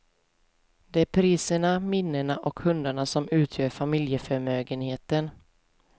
Det är priserna, minnena och hundarna som utgör familjeförmögenheten.